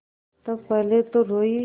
तब पहले तो रोयी